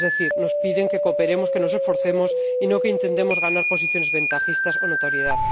Es decir, nos piden que cooperemos, que nos esforcemos y no que intentemos ganar posiciones ventajistas o notoriedad.